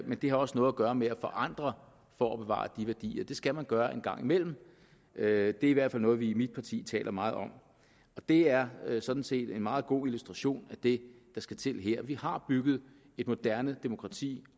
men det har også noget at gøre med at forandre for at bevare de værdier det skal man gøre en gang imellem det er i hvert fald noget vi i mit parti taler meget om det er er sådan set en meget god illustration af det der skal til her vi har bygget et moderne demokrati